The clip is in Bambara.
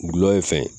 Gulɔ ye fɛn ye